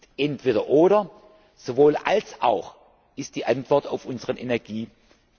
Nicht entweder oder, sondern sowohl als auch ist die Antwort auf unseren Energieverbrauch!